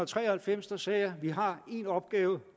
tre og halvfems sagde jeg vi har en opgave